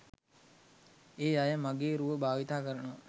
ඒ අය මගේ රුව භාවිත කරනවා.